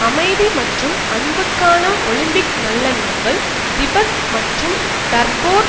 அமைதி மற்றும் அன்புக்கான ஒலிம்பிக் நல்லெண்ணங்கள் திபெத் மற்றும் டர்போர்